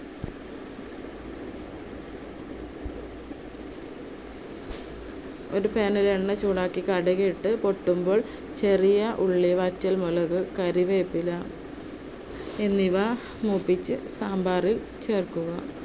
ഒരു pan ൽ എണ്ണ ചൂടാക്കി കടുകിട്ട് പൊട്ടുമ്പോൾ ചെറിയ ഉള്ളി, വറ്റൽ മുളക്, കറിവേപ്പില എന്നിവ മൂപ്പിച്ച് സാമ്പാറിൽ ചേർക്കുക.